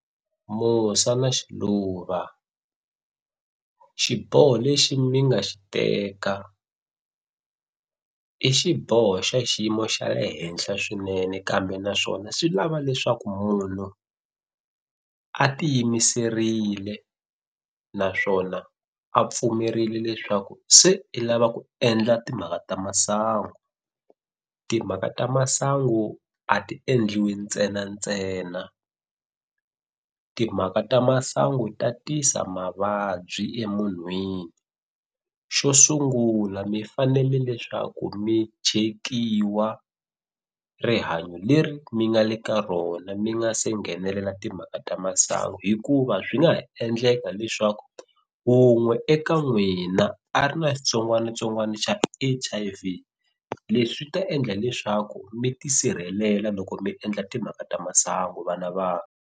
Musa na Xiluva xiboho lexi mi nga xi teka i xiboho xa xiyimo xa le henhla swinene kambe naswona swi lava leswaku munhu a ti yimiserile naswona a pfumerile leswaku se i lava ku endla timhaka ta masangu, timhaka ta masangu a ti endliwi ntsenantsena timhaka ta masangu ta tisa mavabyi emunhwini, xo sungula mi fanele leswaku mi chekiwa rihanyo leri mi nga le ka rona mi nga se nghenelela timhaka ta masangu, hikuva swi nga ha endleka leswaku wun'we eka n'wina a ri na xitsongwanitsongwani xa H_I_V, leswi ta endla leswaku mi tisirhelela loko mi endla timhaka ta masangu vana va.